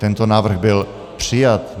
Tento návrh byl přijat.